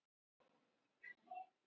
Kristinn skaut Blikum á toppinn